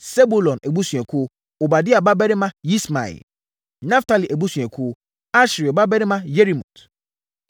Sebulon abusuakuo: Obadia babarima Yismaia; Naftali abusuakuo: Asriel babarima Yerimot;